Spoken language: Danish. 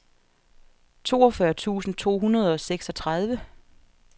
toogfyrre tusind to hundrede og seksogtredive